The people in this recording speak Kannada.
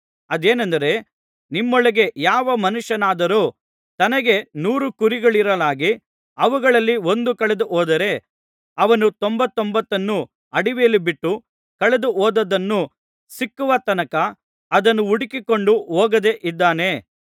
ಅದೇನೆಂದರೆ ನಿಮ್ಮೊಳಗೆ ಯಾವ ಮನುಷ್ಯನಾದರೂ ತನಗೆ ನೂರು ಕುರಿಗಳಿರಲಾಗಿ ಅವುಗಳಲ್ಲಿ ಒಂದು ಕಳೆದುಹೋದರೆ ಅವನು ತೊಂಬತ್ತೊಂಬತ್ತನ್ನೂ ಅಡವಿಯಲ್ಲಿ ಬಿಟ್ಟು ಕಳೆದುಹೋದದ್ದು ಸಿಕ್ಕುವ ತನಕ ಅದನ್ನು ಹುಡುಕಿಕೊಂಡು ಹೋಗದೆ ಇದ್ದಾನೆಯೇ